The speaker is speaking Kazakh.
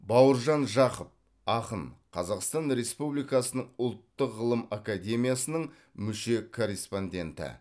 бауыржан жақып ақын қазақстан республикасының ұлттық ғылым академиясының мүше корреспонденті